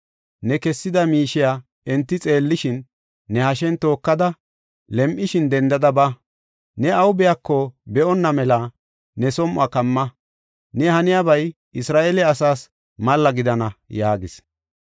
Ne kessida miishiya enti xeellishin, ne hashen tookada, lem7ishin dendada ba. Ne awu biyako be7onna mela ne som7uwa kamma. Ne haniyabay Isra7eele asaas malla gidana” yaagis.